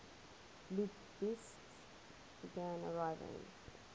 lubitsch began arriving